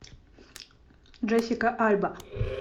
джессика альба